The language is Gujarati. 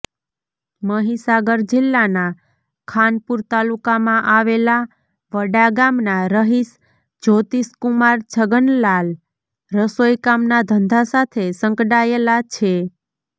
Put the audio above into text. મહીસાગર જિલ્લાના ખાનપુર તાલુકામાં આવેલા વડાગામના રહીશ જ્યોતીષકુમાર છગનલાલ રસોઇ કામના ધંધા સાથે સંકડાયેલા છે